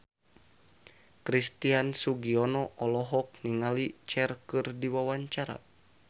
Christian Sugiono olohok ningali Cher keur diwawancara